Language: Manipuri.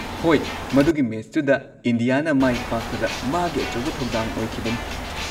ꯍꯣꯏ, ꯃꯗꯨꯒꯤ ꯃꯦꯆꯇꯨꯗ ꯏꯟꯗꯤꯌꯥꯅ ꯃꯥꯏ ꯄꯥꯛꯄꯗ ꯃꯥꯒꯤ ꯑꯆꯧꯕ ꯊꯧꯗꯥꯡ ꯑꯣꯏꯈꯤꯕꯅꯤ꯫